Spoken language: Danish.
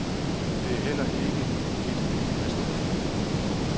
Det er heller ikke et af de værste.